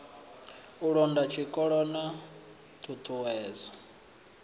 u londa zwikolo na ṱhuṱhuwedzo